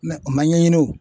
o man ɲɛɲini o.